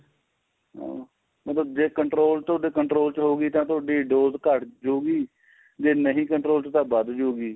ਹਾਂ ਮਤਲਬ ਜ਼ੇ control ਤੋਂ ਤੁਹਾਡੇ control ਚ ਹੋਗੀ ਤਾਂ ਤੁਹਾਡੀ dose ਘੱਟ ਜਉਗੀ ਜ਼ੇ ਨਹੀਂ control ਚ ਤਾਂ ਵੱਧ ਜਉਗੀ